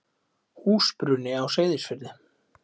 Húsbruni á Seyðisfirði.